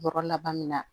Bɔrɔ laban min na